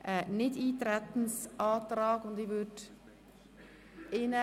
Ich gebe das Wort zuerst den Antragstellern oder dem Kommissionspräsidenten.